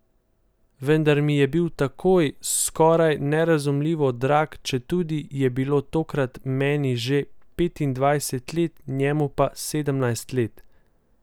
Vendar mi je bil takoj skoraj nerazumljivo drag, četudi je bilo takrat meni že petindvajset let, njemu pa sedemnajst let.